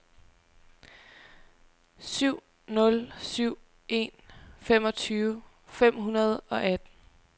syv nul syv en femogtyve fem hundrede og atten